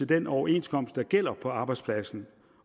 den overenskomst der gælder på arbejdspladsen